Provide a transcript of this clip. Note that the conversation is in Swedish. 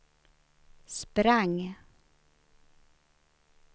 sprang